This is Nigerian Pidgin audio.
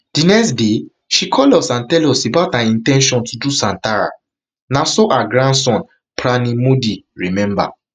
di next day she call us and tell us about her in ten tion to do santhara na so her grandson pranay modi remember